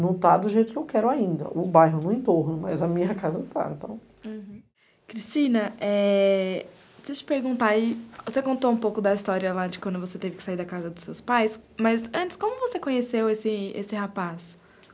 Não tá do jeito que eu quero ainda, o bairro no entorno, mas a minha casa tá, então. Uhum. Cristina, deixa eu te perguntar aí, você contou um pouco da história lá de quando você teve que sair da casa dos seus pais, mas, antes, como você conheceu esse esse rapaz?